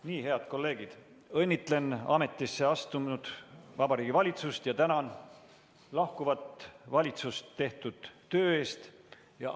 " Nii, head kolleegid, õnnitlen ametisse astunud Vabariigi Valitsust ja tänan lahkuvat valitsust tehtud töö eest!